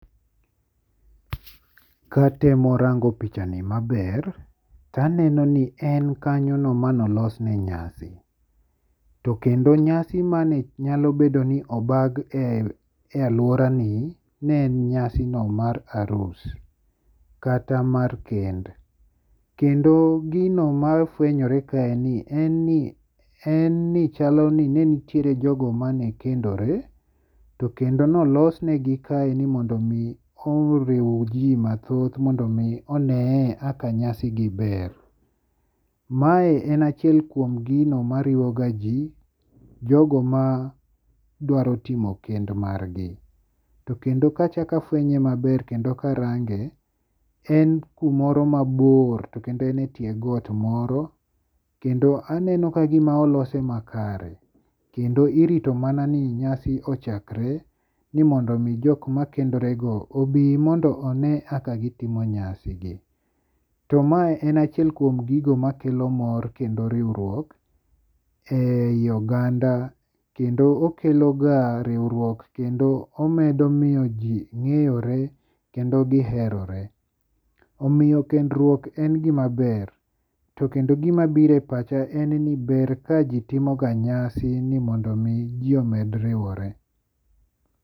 Katemo rango pichani maber to aneno ni en kanyono manolos ne nyasi. Tokendo nyasi mane nyalobedo ni obag e aluora ni ne en nyasi no mar arus. Kata mar kend. Kendo gino mafwenyore kaeni en ni chalo ni nenitiere jogo mane kendore to kendo nolos negi kaeni mondo mi oriw ji mathoth mondo mi one e kaka nyasi gi ber. Mae en achiel kuom gino mariwo ga ji, jogo ma dwaro timo kend margi. To kendo kachak afwenye maber kendo karange en kumoro mabor to kendo en e tie got moro kendo aneno kagima olose makare. Kendo irito mana ni nyasi ochakre ni mondo mi jok ma kendore go obi mondo one kaka gitimo nyasi gi. To ma en achiel kuom gigo makelo mor kendo riwruok e yi oganda. Kendo okelo ga riwruok kendo omedo miyo ji ng'eyore kendo giherore. Omiyo kendruok en gima ber. Tokendo gima biro e pacha en ni ber ka jitimo ga nyasi ni mondo mi ji omed riwore.